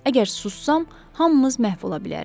Əgər sussam, hamımız məhv ola bilərik.